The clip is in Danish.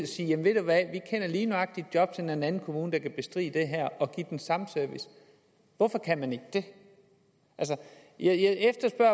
sige jamen ved du hvad vi kender lige nøjagtig et jobcenter i en anden kommune der kan bestride det her og give den samme service hvorfor kan man ikke det jeg efterspørger